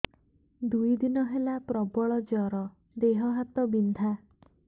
ଦୁଇ ଦିନ ହେଲା ପ୍ରବଳ ଜର ଦେହ ହାତ ବିନ୍ଧା